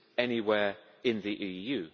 anywhere in the EU.